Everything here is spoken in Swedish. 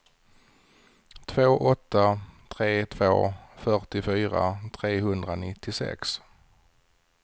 två åtta tre två fyrtiofyra trehundranittiosex